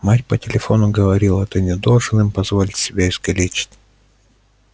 мать по телефону говорила ты не должен им позволить себя искалечить